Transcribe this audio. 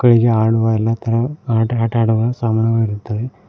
ಇಲ್ಲಿ ಆಡುವ ಎಲ್ಲಾ ತರಹ ಆಟ ಆಡುವ ಸಾಮಾನುಗಳಿರುತ್ತವೆ.